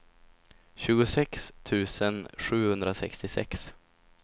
tjugosex tusen sjuhundrasextiosex